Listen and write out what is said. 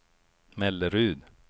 Mellerud